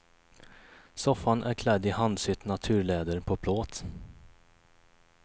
Soffan är klädd i handsytt naturläder på plåt.